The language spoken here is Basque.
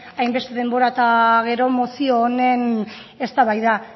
hainbeste denbora eta gero mozio honen eztabaida